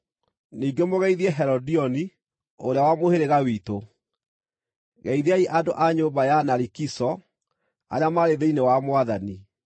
Ningĩ mũgeithie Herodioni, ũrĩa wa mũhĩrĩga witũ. Geithiai andũ a nyũmba ya Narikiso arĩa marĩ thĩinĩ wa Mwathani.